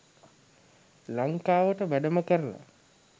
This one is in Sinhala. ලංකාවට වැඩම කරල